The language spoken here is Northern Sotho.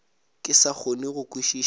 ke sa kgone go kwešiša